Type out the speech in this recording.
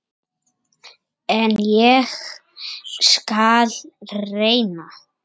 En ég skal reyna.